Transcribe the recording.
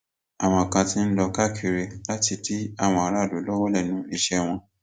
àwọn kan ti ń lọ káàkiri láti dí àwọn aráàlú lọwọ lẹnu iṣẹ wọn